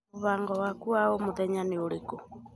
Mũbango wakũ wa omuthenya niuriko?